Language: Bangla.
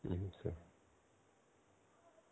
আচ্ছা.